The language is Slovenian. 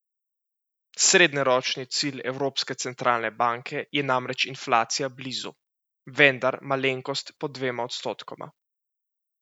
Srednjeročni cilj Evropske centralne banke je namreč inflacija blizu, vendar malenkost pod dvema odstotkoma.